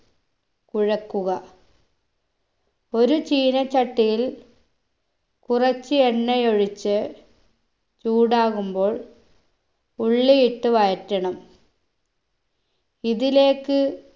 കുഴക്കുക ഒരു ചീനച്ചട്ടിയിൽ കുറച്ച് എണ്ണയൊഴിച്ച് ചൂടാകുമ്പോൾ ഉള്ളിയിട്ട് വഴറ്റണം ഇതിലേക്ക്